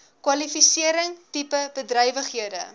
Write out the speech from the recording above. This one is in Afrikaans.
kwalifisering tipe bedrywighede